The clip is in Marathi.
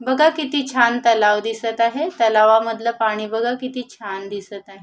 बघा किती छान तलाव दिसत आहे तलावा मधल पाणी बघा किती छान दिसत आहे.